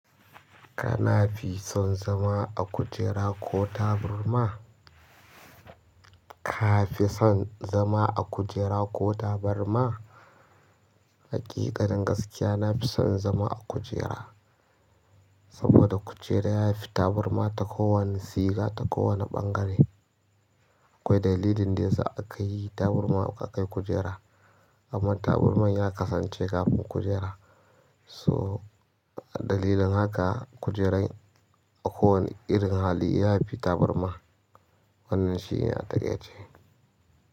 Kana fi son zama a kujera ko taburma? Ka fi son zama a kujera ko taburma? Haƙiƙanin gaskiya, na fi son zama a kujera saboda kujera ya fi taburma ta kowane tsiga, ta kowane ɓangare. Akwai dalili da yasa akayi taburman akayi kujera amman taburman ya kasance tafi kujera so dalilin haka kujerar kowane irin hali ya fi taburma. Wannan shi ne a taƙai ce.